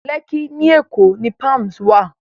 Lẹ́kkí ní Èkó ni Palms wà